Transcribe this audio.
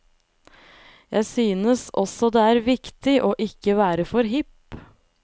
Jeg synes også det er viktig å ikke være for hipp.